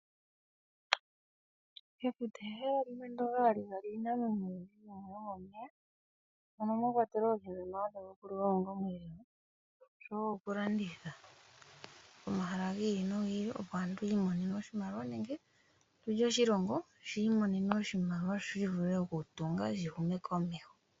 Efuta ehala moka hamu adhika iinamwenyo oyindji yomomeya mono mwa kwatelwa oohi ndhono hadhi liwa onga omweelelo oshowo oku landitha pomahala gi ili nogi ili, opo aantu yi imonene mo oshimaliwa nenge tutye oshilongo shiimonena oshimaliwa shi vule oku tunga shihume komeho.